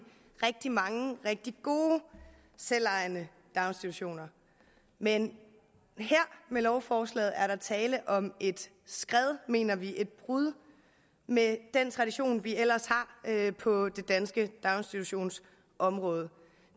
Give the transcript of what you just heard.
rigtig mange rigtig gode selvejende daginstitutioner men her med lovforslaget er tale om et skred mener vi et brud med den tradition vi ellers har på det danske daginstitutionsområde